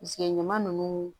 ɲama nunnu